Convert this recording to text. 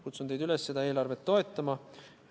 Kutsun teid üles seda eelarvet toetama.